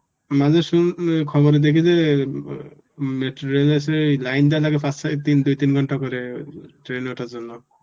মাঝে শুন~ খবরে দেখি যে উম metro rail এসে line দিতে নাকি দুই তিন ঘন্টা করে train এ ওঠার জন্য